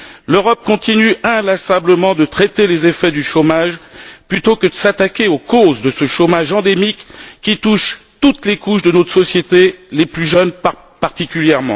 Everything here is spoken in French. L'Europe continue inlassablement de traiter les effets du chômage plutôt que de s'attaquer aux causes de ce chômage endémique qui touche toutes les couches de notre société, les plus jeunes en particulier.